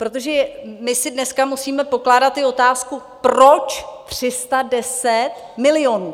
Protože my si dneska musíme pokládat i otázku, proč 310 milionů?